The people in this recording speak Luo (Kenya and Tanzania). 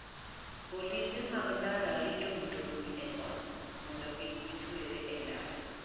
Polise mag ndara rito mtokni e koth mondo kik gitwere e ndara.